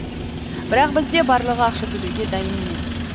бірақ бізде барлығы ақша төлеуге дайын емес